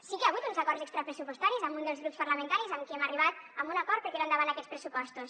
sí que hi ha hagut uns acords extrapressupostaris amb un dels grups parlamentaris amb qui hem arribat a un acord per tirar endavant aquests pressupostos